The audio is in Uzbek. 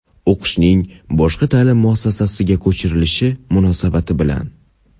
O‘qishning boshqa ta’lim muassasasiga ko‘chirilishi munosabati bilan;.